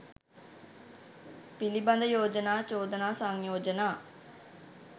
පිළිබඳ යෝජනා චෝදනා සංයෝජනා